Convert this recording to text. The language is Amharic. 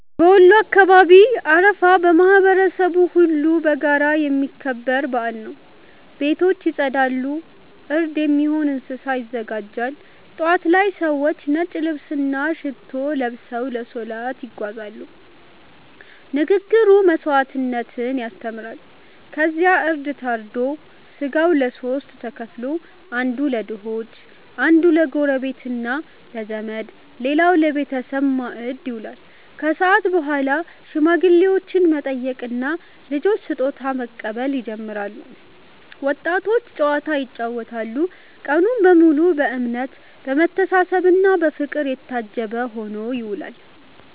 በወሎ አካባቢ አረፋ ማህበረሰቡ ሁሉ በጋራ የሚያከብረው በዓል ነው። ቤቶች ይጸዳሉ፣ እርድ የሚሆን እንስሳ ይዘጋጃል። ጠዋት ላይ ሰዎች ነጭ ልብስና ሽቶ ለብሰው ለሰላት ይጓዛሉ፤ ንግግሩ መስዋዕትነትን ያስተምራል። ከዚያ እርድ ታርዶ ሥጋው ለሦስት ተከፍሎ፦ አንዱ ለድሆች፣ አንዱ ለጎረቤትና ለዘመድ፣ ሌላው ለቤተሰብ ማዕድ ይበላል። ከሰዓት በኋላ ሽማግሌዎችን መጠየቅና ልጆች ስጦታ መቀበል ይጀምራል፤ ወጣቶች ጨዋታ ይጫወታሉ። ቀኑ በሙሉ በእምነት፣ በመተሳሰብና በፍቅር የታጀበ ሆኖ ይውላል።